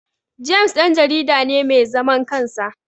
James Dan jarida ne mai zaman kansa